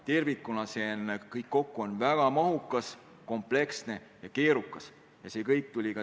Tervikuna on kõik kokku väga mahukas, kompleksne ja keerukas dokument.